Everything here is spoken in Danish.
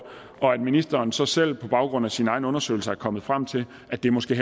og at ministeren så selv på baggrund af sine egne undersøgelser er kommet frem til at det måske